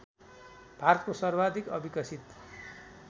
भारतको सर्वाधिक अविकसित